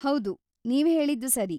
ಹೌದು, ನೀವು ಹೇಳಿದ್ದು ಸರಿ.